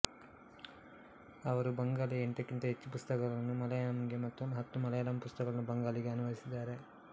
ಅವರು ಬಂಗಾಳಿಯ ಎಂಟಕ್ಕಿಂತ ಹೆಚ್ಚು ಪುಸ್ತಕಗಳನ್ನು ಮಲಯಾಳಂಗೆ ಮತ್ತು ಹತ್ತು ಮಲಯಾಳಂ ಪುಸ್ತಕಗಳನ್ನು ಬಂಗಾಳಿಗೆ ಅನುವಾದಿಸಿದ್ದಾರೆ